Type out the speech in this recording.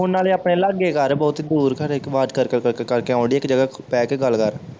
phone ਨਾਲੇ ਆਪਣੇ ਲਾਗੇ ਕਰ ਬਹੁਤੀ ਦੂਰ ਕਰੇ ਆਵਾਜ਼ ਕਰ ਕਰ ਕਰ ਕਰਕੇ ਆਉਣ ਡਈ ਆ ਇੱਕ ਜਗਾਹ ਬਹਿ ਕੇ ਗੱਲ ਕਰ